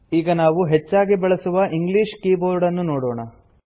ಈಗ ನಾವು ಹೆಚ್ಚಾಗಿ ಬಳಸುವ ಇಂಗ್ಲೀಷ್ ಕೀಬೋರ್ಡನ್ನು ನೋಡೋಣ